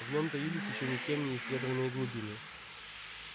в нем таились ещё никем не исследованные глубины